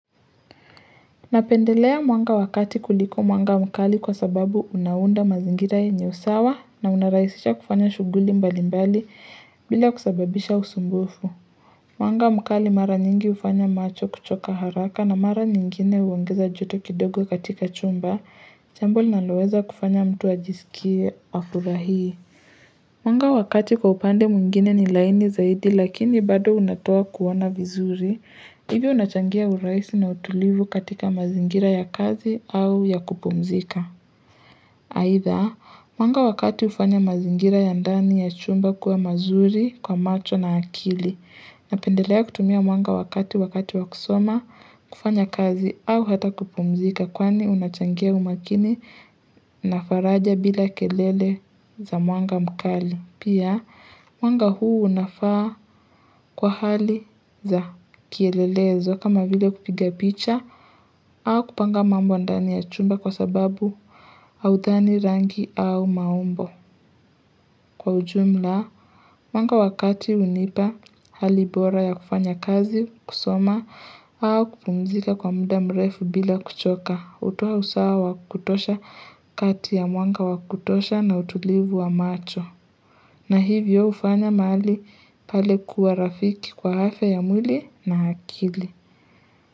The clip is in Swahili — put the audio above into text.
Napendelea mwanga wa kati kuliko mwanga mkali kwa sababu unaunda mazingira yenye usawa na unarahisisha kufanya shughuli mbali mbali bila kusababisha usumbufu. Mwanga mkali mara nyingi hufanya macho kuchoka haraka na mara nyingine uongeza joto kidogo katika chumba, jambo linaloweza kufanya mtu ajisikie afurahie. Mwanga wa kati kwa upande mwingine ni laini zaidi lakini bado unatoa kuona vizuri hivyo unachangia urahisi na utulivu katika mazingira ya kazi au ya kupumzika Haidha, mwanga wakati hufanya mazingira ya ndani ya chumba kuwa mazuri kwa macho na akili Napendelea kutumia mwanga wa kati wakati wakusoma kufanya kazi au hata kupumzika kwani unachangia umakini na faraja bila kelele za mwanga mkali. Pia, mwanga huu unafaa kwa hali za kielelezo kama vile kupiga picha au kupanga mambo ndani ya chumba kwa sababu haudhani rangi au maumbo. Kwa ujumla, mwanga wa kati hunipa hali bora ya kufanya kazi kusoma au kupumzika kwa muda mrefu bila kuchoka. Hutoa usawa wa kutosha kati ya mwanga wakutosha na utulivu wa macho. Na hivyo hufanya mahali pale kuwa rafiki kwa afya ya mwili na akili.